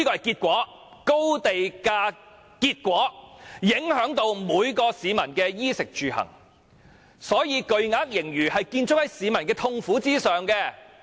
高地價的結果影響每名市民的衣、食、住、行，所以巨額盈餘是建築在市民的痛苦上。